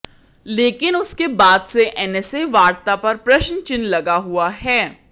लेकिन उसके बाद से एनएसए वार्ता पर प्रश्नचिन्ह लगा हुआ है